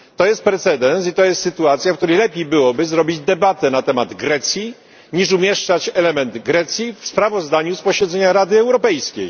To jest precedens i to jest sytuacja, w której lepiej byłoby zrobić debatę na temat Grecji niż umieszczać element Grecji w sprawozdaniu z posiedzenia Rady Europejskiej.